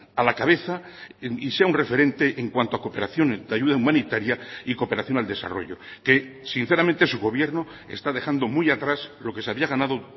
a la cabeza y sea un referente en cuanto a cooperación de ayuda humanitaria y cooperación al desarrollo que sinceramente su gobierno está dejando muy atrás lo que se había ganado